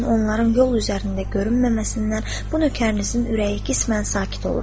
Lakin onların yol üzərində görünməməsindən bu nökərinizin ürəyi qismən sakit olur.